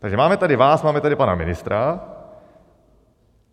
Takže máme tady vás, máme tady pana ministra.